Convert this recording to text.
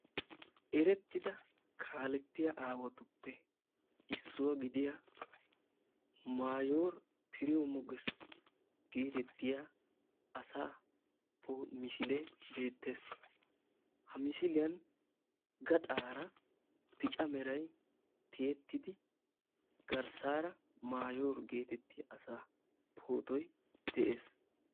Erettida kaalettiya aawatuppe issuwa gidiua mayoor piriyawu moges geetettiya asaa misilee beettes. Ha misiliyan gaxaara bica meray tiyettidi garsaara mayoor geetettiya asaa pootoy de'ees.